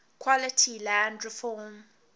quality land reform